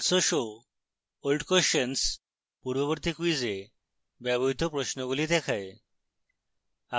also show old questions পূর্ববর্তী ক্যুইজে ব্যবহৃত প্রশ্নগুলি দেখায়